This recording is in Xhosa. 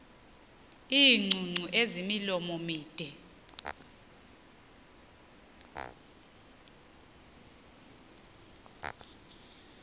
iingcungcu ezimilomo mide